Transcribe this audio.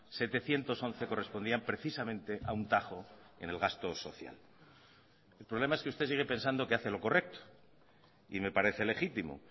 setecientos once correspondían precisamente a un tajo en el gasto social el problema es que usted sigue pensando que hace lo correcto y me parece legítimo